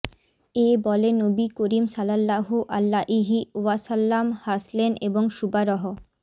এ বলে নবী করীম সাল্লাল্লাহু আলাইহি ওয়াসাল্লাম হাসলেন এবং শুবা রহ